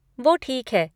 वो ठीक है।